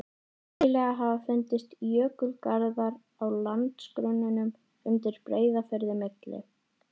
Nýlega hafa fundist jökulgarðar á landgrunninu undan Breiðafirði, milli